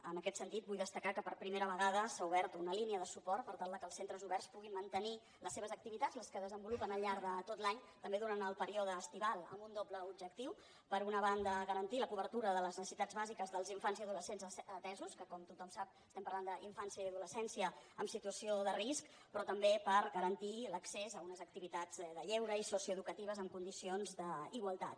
en aquest sentit vull destacar que per primera vegada s’ha obert una línia de suport per tal que els centres oberts puguin mantenir les seves activitats les que desenvolupen al llarg de tot l’any també durant el període estival amb un doble objectiu per una banda garantir la cobertura de les necessitats bàsiques dels infants i adolescents atesos que com tothom sap estem parlant d’infància i adolescència en situació de risc però també per garantir l’accés a unes activitats de lleure i socioeducatives en condicions d’igualtat